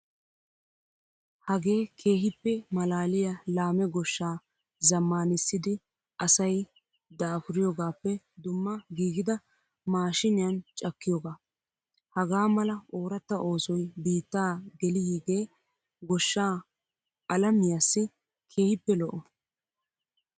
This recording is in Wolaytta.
Hagee keehippe maalaaliyaa laame goshshaa zaammanissidi asayi daapuriyoogappe dumma giigida maashiiniyan cakkiyoogaa. Hagaa mala ooratta oosoy biittaa geliyiigee goshshaa alamiyaassi keehippe lo"o.